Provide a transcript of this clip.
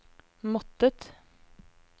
måttet